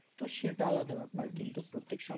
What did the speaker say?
তো সেটা আলাদা ব্যাপার কিন্তু প্রত্তেক সপ্তাহে তো